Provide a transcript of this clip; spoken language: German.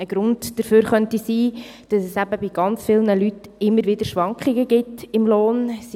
Ein Grund dafür könnte sein, dass es bei sehr vielen Leuten immer wieder Schwankungen beim Lohn gibt.